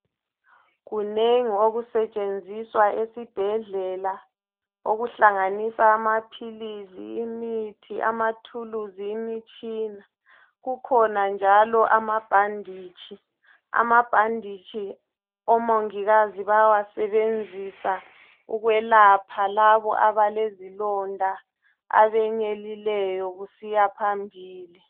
Kunengi okusetshenziswa esibhedlela okuhlanganisa amaphilisi, imithi ,amathuluzi, imitshina. Kukhona njalo amabhanditshi. Amabhanditshi omongikazi bayawasebenzisa ukwelapha labo abalezilonda, abenyelileyo kusiya phambili.